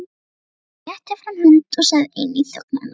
Jón rétti fram hönd og sagði inn í þögn hennar